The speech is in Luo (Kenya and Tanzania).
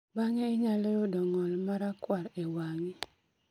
Bang'e inyalo yudo ng'ol marakwar e wang'i